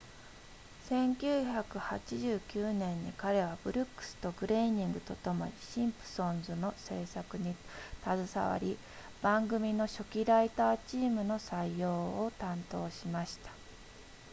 1989年に彼はブルックスとグレイニングとともにシンプソンズの制作に携わり番組の初期ライターチームの採用を担当しました